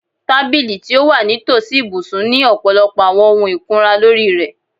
Tabili ti o wa nitosi ibusun ni ọpọlọpọ awọn ohun ikunra lori rẹ